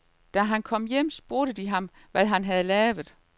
Da han kom hjem, spurgte de ham, hvad han havde lavet.